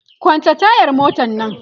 kwance tayar motan Nan!